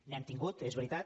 n’hem tingut és veritat